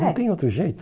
É. Não tem outro jeito.